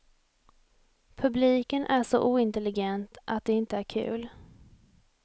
Publiken är så ointelligent att det inte är kul.